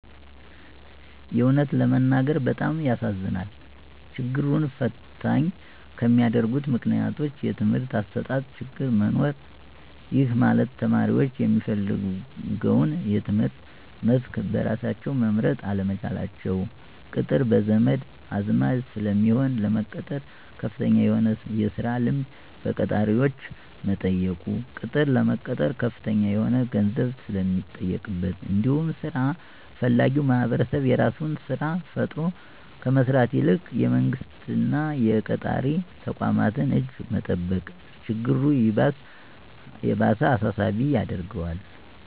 የእውነት ለመናገር በጣም ያሳዝነኛል። ችግሩን ፈተኝ ከሚያደርጉት ምክንያቶች:- የትምህርት አሰጣጥ ችግር መኖር:- ይህ ማለት ተማሪዎች የሚፈልገውን የትምህርት መስክ በራሳቸው መምረጥ አለመቻላቸው፤ ቅጥር በዘመድ አዝማድ ስለሚሆን፤ ለመቀጠር ከፍተኛ የሆነ የስራ ልምድ በቀጣሪዎች መጠየቁ፤ ቅጥር ለመቀጠር ከፍተኛ የሆነ ገንዘብ ስለሚጠየቅበት እንዲሁም ስራ ፈላጊዉ ማህበረሰብ የራሱን ስራ ፈጥሮ ከመስራት ይልቅ የመንግስት እና የቀጣሪ ተቋማትን እጅ መጠበቅ ችግሩ ይባስ አሳሳቢ ያደርገዋል።